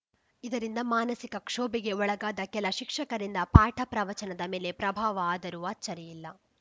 ಇದರಿಂದ ಮಾನಸಿಕ ಕ್ಷೋಭೆಗೆ ಒಳಗಾದ ಕೆಲ ಶಿಕ್ಷಕರಿಂದ ಪಾಠ ಪ್ರವಚನದ ಮೇಲೆ ಪ್ರಭಾವ ಆದರೂ ಅಚ್ಚರಿಯಿಲ್ಲ